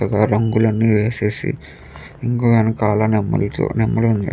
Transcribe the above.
ఇంకా రంగులన్నీ వేసేసి ఇంకా వెనకాల నెమలి చూ నెమలి ఉంది.